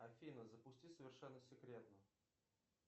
афина запусти совершенно секретно